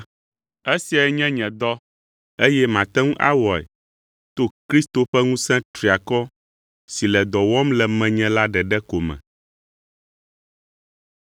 Esiae nye nye dɔ, eye mate ŋu awɔe to Kristo ƒe ŋusẽ triakɔ si le dɔ wɔm le menye la ɖeɖe ko me.